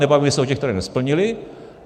Nebavíme se o těch, které nesplnily.